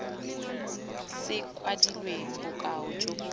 se kwadilweng bokao jo bo